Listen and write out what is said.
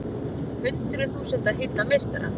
Hundruð þúsunda hylla meistara